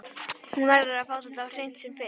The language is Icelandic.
Hún verður að fá þetta á hreint sem fyrst.